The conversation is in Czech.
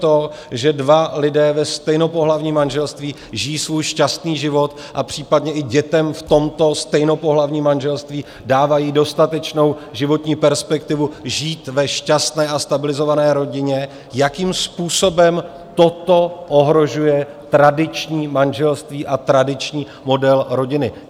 To, že dva lidé ve stejnopohlavním manželství žijí svůj šťastný život a případně i dětem v tomto stejnopohlavním manželství dávají dostatečnou životní perspektivu žít ve šťastné a stabilizované rodině, jakým způsobem toto ohrožuje tradiční manželství a tradiční model rodiny?